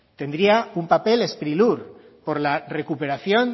tendría un papel sprilur por la recuperación